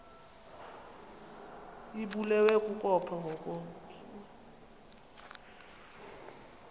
ibulewe kukopha ngokomntu